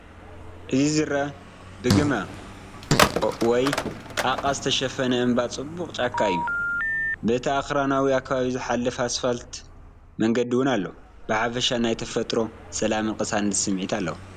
እቲ ዝረአ ብግመ/ ጣቓ ዝተሸፈነ እምባን ጽዑቕ ጫካን እዩ። በቲ ኣኽራናዊ ከባቢ ዝሓልፍ ኣስፋልት መንገዲ እውን ኣሎ። ብሓፈሻ ናይ ተፈጥሮ ሰላምን ቅሳነትን ስምዒት ኣለዎ።